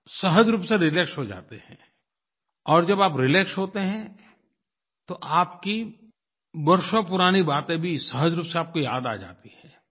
आप सहज रूप से रिलैक्स हो जाते हैं और जब आप रिलैक्स होते हैं तो आपकी वर्षों पुरानी बातें भी सहज रूप से आपको याद आ जाती हैं